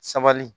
Sabali